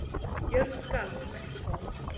Jörð skalf í Mexíkó